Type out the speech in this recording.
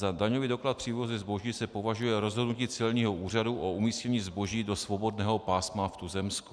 Za daňový doklad při vývozu zboží se považuje rozhodnutí celního úřadu o umístění zboží do svobodného pásma v tuzemsku.